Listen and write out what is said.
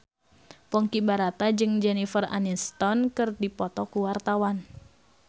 Ponky Brata jeung Jennifer Aniston keur dipoto ku wartawan